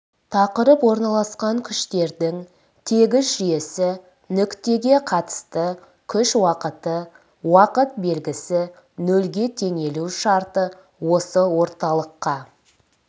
тақырып орналасқан күштердің тегіс жүйесі нүктеге қатысты күш уақыты уақыт белгісі нөлге теңелу шарты осы орталыққа